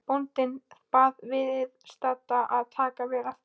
Bóndinn bað viðstadda að taka vel eftir.